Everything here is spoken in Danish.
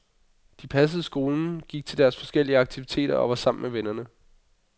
De passede skolen, gik til deres forskellige aktiviteter og var sammen med vennerne.